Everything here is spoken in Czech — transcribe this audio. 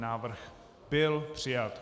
Návrh byl přijat.